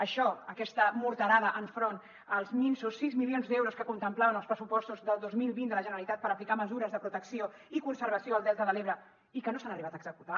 això aquesta morterada enfront els minsos sis milions d’euros que contemplaven els pressupostos del dos mil vint de la generalitat per aplicar mesures de protecció i conservació al delta de l’ebre i que no s’han arribat a executar